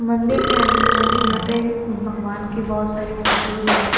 मंदिर के अन मन यहां पे भगवान की बहोत सारी फोटोस है।